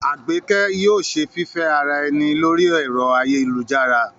Àgbékẹ́ yóò ṣe fífẹ́ ara ẹni lórí ẹ̀rọ ayélujára